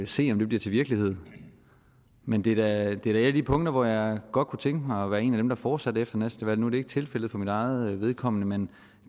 se om det bliver til virkelighed men det er da et af de punkter hvor jeg godt kunne tænke mig at være en af dem der fortsatte efter næste valg nu det ikke tilfældet for mit eget vedkommende men